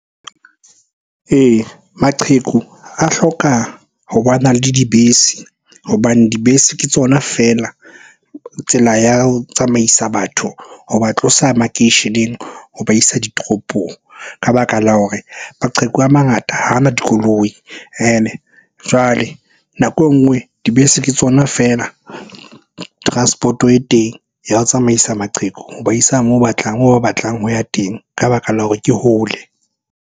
Ee, maqheku a hloka ho bana le dibese hobane dibese ke tsona feela tsela ya ho tsamaisa batho ho ba tlosa makeisheneng, ho ba isa ditoropong. Ka baka la hore maqheku a mangata ha a na dikoloi, ene jwale nako e nngwe dibese ke tsona feela transport-o e teng ya ho tsamaisa maqheku ho ba isa moo ba batlang ho ya teng ka baka la hore ke hole.